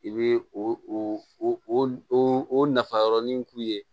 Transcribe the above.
I bɛ o o nafa yɔrɔnin k'u ye